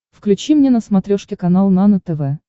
включи мне на смотрешке канал нано тв